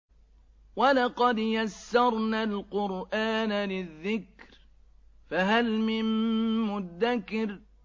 وَلَقَدْ يَسَّرْنَا الْقُرْآنَ لِلذِّكْرِ فَهَلْ مِن مُّدَّكِرٍ